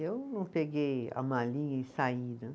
Eu não peguei a malinha e saída.